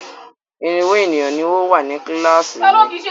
Irínwó ènìyàn ni ó wà ní kíláàsì mi.